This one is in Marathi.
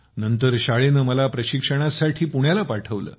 नंतर शाळेने मला प्रशिक्षणासाठी पुण्याला पाठवलं